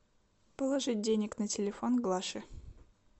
положить денег на телефон глаше